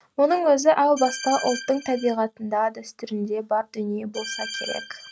мұның өзі әу баста ұлттың табиғатында дәстүрінде бар дүние болса керек